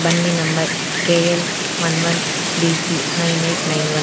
Bandi number K L one one B G nine eight nine one .